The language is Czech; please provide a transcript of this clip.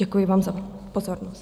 Děkuji vám za pozornost.